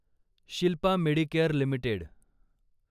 Shilpa medicare limited